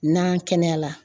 N'an kɛnɛyala